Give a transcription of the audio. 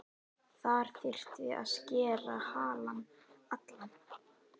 Þar þyrfti að skera halann allan.